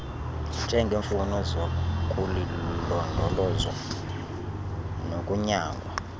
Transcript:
njengeemfuno zokulindolozwa nokunyangwa